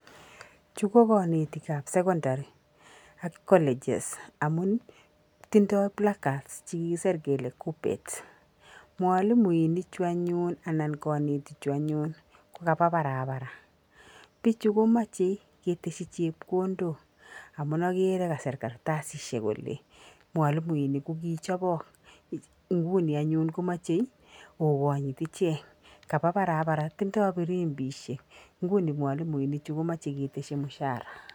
Chu ko kanetikab secondary ak colleges amun tidoi blackcard che kikisir kele kuppet. Mwalimuini chu anyun anan kanetichu anyun ko kapa parapara. Bichu komachei keteshi chepkondok amu agere kasir kartasishek kole mwalimuinik kokichobok. Nguno komachei oganyit ichek, kapa parapara tindoi firimbishek nguni mwalimuinichu komachei keteshi mshahara.